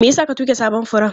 Me yasa ka tuge sabon furen?